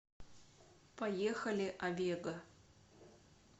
поехали авега